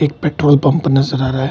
एक petrol pump नजर आ रहा है।